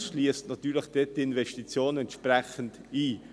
Dies schliesst dann natürlich die Investitionen entsprechend ein.